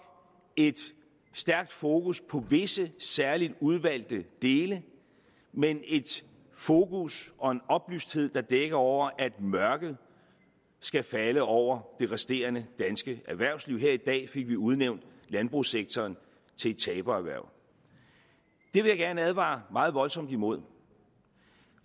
et stærkt fokus på visse særligt udvalgte dele men et fokus og en oplysthed der dækker over at mørket skal falde over det resterende danske erhvervsliv her i dag fik vi udnævnt landbrugssektoren til et tabererhverv det vil jeg gerne advare meget voldsomt imod